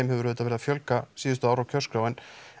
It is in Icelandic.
hefur auðvitað verið að fjölga síðustu ár á kjörskrá en